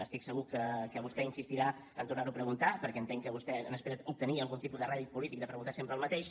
estic segur que vostè insistirà en tornar ho a preguntar perquè entenc que vostè n’espera obtenir algun tipus de rèdit polític de preguntar sempre el mateix